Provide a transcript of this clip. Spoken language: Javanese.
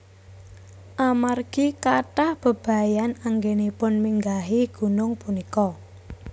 Amargi kathah bebayan anggenipun minggahi gunung punika